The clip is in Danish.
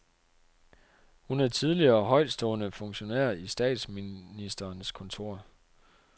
Hun er tidligere højtstående funktionær i statsministerens kontor.